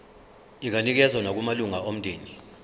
inganikezswa nakumalunga omndeni